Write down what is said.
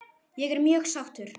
Ég er mjög sáttur